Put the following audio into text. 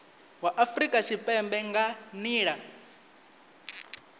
wa afurika tshipembe nga nila